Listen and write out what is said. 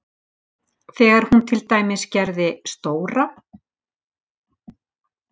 Þegar hún til dæmis gerði stóra